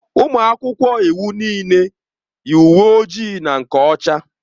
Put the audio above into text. Ụmụ akwụkwọ iwu niile yi uwe ojii na nke ọcha.